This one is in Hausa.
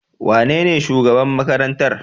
Wanene shugaban makarantar?